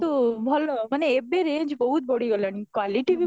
କିନ୍ତୁ ଭଲ ମାନେ ଏବେ range ବହୁତ ବଢିଗଲାଣି quality